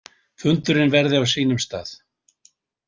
Fundurinn verði á sínum stað.